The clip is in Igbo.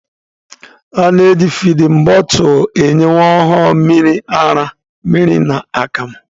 A na-eji fidin bọtụlụ enye nwa ọhụrụ mmiri ara, mmiri na akamụ.